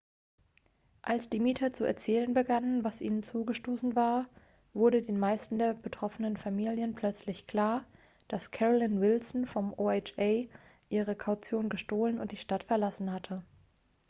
als die mieter zu erzählen begannen was ihnen zugestoßen war wurde den meisten der betroffenen familien plötzlich klar das carolyn wilson vom oha ihre kaution gestohlen und die stadt verlassen hatte.x